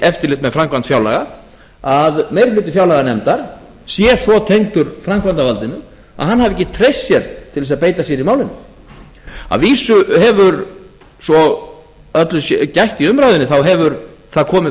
eftirlit með framkvæmd fjárlaga að meiri hluti fjárlaganefndar sé svo tengdur framkvæmdarvaldinu að hann hafi ekki treyst sér til þess að beita sér í málinu að vísu svo alls sé gætt í umræðunni þá hefur það komið